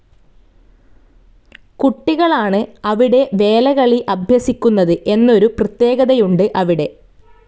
കുട്ടികളാണ് അവിടെ വേലകളി അഭ്യസിക്കുന്നത് എന്നൊരു പ്രത്യേകതയുണ്ട് അവിടെ.